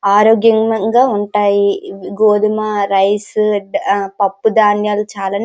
ఆరోగ్యంగా ఉంటాయి గోధుమ రైసు పప్పు ధాన్యాలు చా --